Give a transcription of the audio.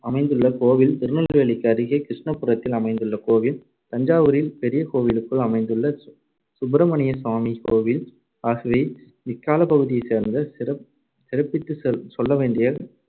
அமைந்துள்ள கோவில், திருநெல்வேலிக்கு அருகே கிருஷ்ணபுரத்தில் அமைந்துள்ள கோவில், தஞ்சாவூரில் பெரிய கோவிலுக்குள் அமைந்துள்ள சுப்பிரமணியசாமி கோவில் ஆகியவை இக்காலப்பகுதியைச் சேர்ந்த சிற~ சிறப்பித்துச் செ~ சொல்லவேண்டிய,